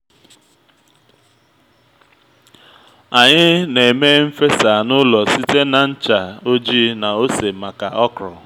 anyị na-eme n’fesa n'ụlọ site na ncha ojii na ose maka okro